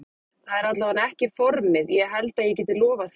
Það er allavega ekki formið ég held ég geti lofað því.